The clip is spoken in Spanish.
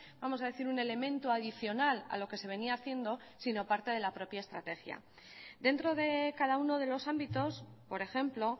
vamos a decir un elemento adicional a lo que se venía haciendo sino parte de la propia estrategia dentro de cada uno de los ámbitos por ejemplo